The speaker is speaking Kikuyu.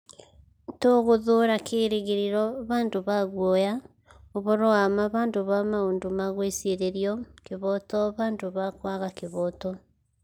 Tũgũthuura kĩĩrĩgĩrĩro handũ ha guoya, ũhoro wa ma handũ ha maũndũ ma gwĩcirĩrio, kĩhooto handũ ha kwaga kĩhooto.'